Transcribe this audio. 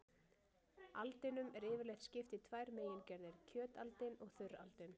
Aldinum er yfirleitt skipt í tvær megingerðir, kjötaldin og þurraldin.